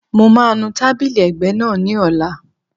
Mo máa nu tábìlì ẹ̀gbẹ́ náà ní ọ̀la